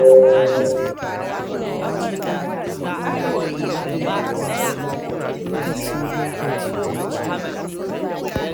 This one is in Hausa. Daga nan kuma sai in ware me ya kamata in siya, lokaci-lokaci.